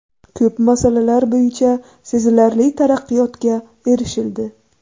Ko‘p masalalar bo‘yicha sezilarli taraqqiyotga erishildi.